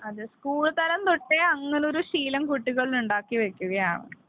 അതേ സ്കൂൾ തലം തൊട്ടേ അങ്ങനെ ഒരു ശീലം കുട്ടികളിൽ ഉണ്ടാക്കി വയ്ക്കുകയാണ്.